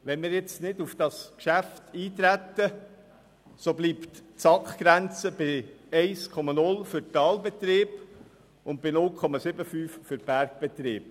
Wenn wir jetzt nicht auf das Geschäft eintreten, bleibt die SAKGrenze bei 1,0 für Talbetriebe und bei 0,75 für Bergbetriebe.